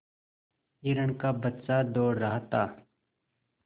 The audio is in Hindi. हिरण का बच्चा दौड़ रहा था